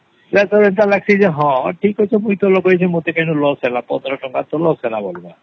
ହଁ ଏଟା ଲାଗୂସେ ମୁଇ ତା ଲଗେଇଚେ କେତେ loss ହେଲା ପନ୍ଦର ଟଙ୍କା ତା loss ହେଲା